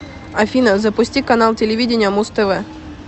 афина запусти канал телевидения муз тв